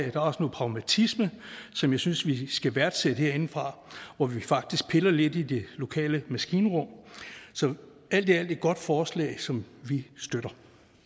er også noget pragmatisme som jeg synes vi skal værdsætte herindefra hvor vi faktisk piller lidt i det lokale maskinrum så alt i alt et godt forslag som vi støtter